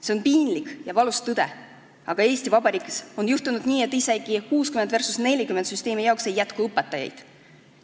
See on piinlik ja valus tõde, aga Eesti Vabariigis on juhtunud nii, et isegi 60 versus 40 süsteemi jaoks ei jätku õpetajaid.